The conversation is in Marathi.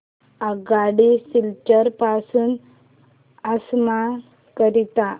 आगगाडी सिलचर पासून आसाम करीता